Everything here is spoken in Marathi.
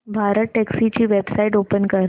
भारतटॅक्सी ची वेबसाइट ओपन कर